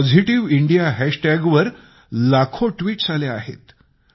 positive India hashtag वर लाखो tweets आल्या आहेत